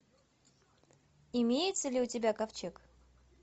имеется ли у тебя ковчег